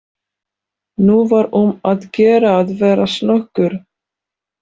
Nú var um að gera að vera snöggur.